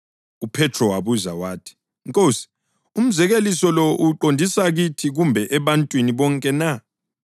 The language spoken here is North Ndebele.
UPhethro wabuza wathi, “Nkosi, umzekeliso lo uwuqondise kithi kumbe ebantwini bonke na?”